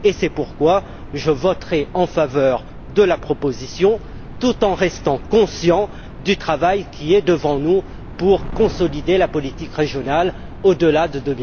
C'est pourquoi je voterai en faveur de la proposition tout en restant conscient du travail qui nous attend pour consolider la politique régionale au delà de